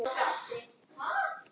Ég var eigin